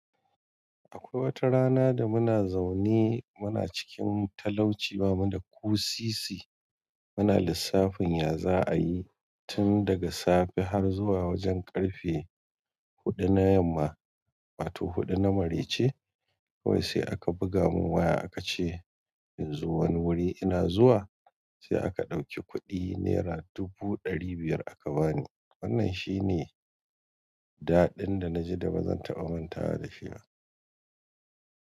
Akwai watarana da muna zaune muna cikin talauci, bamu da ko sisi muna lissafin ya za'ayi tun daga safe har zuwa wajen ƙarfe hudu na yamma wato huɗu na marece. Kawai sai aka buga mun waya aka ce in zo wani wuri ina zuwa. Sai aka ɗauki kuɗi naira dubu ɗari biyar aka bani wannan shi ne dadin da naji da bazan taɓa mantawa da shi ba.